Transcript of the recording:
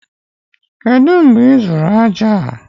kedu mgbe ị zụrụ aja?